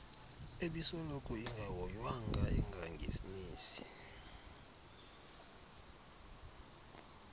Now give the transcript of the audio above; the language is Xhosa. ebisoloko ingahoywanga engangenisi